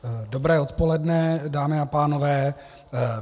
Dobré odpoledne, dámy a pánové.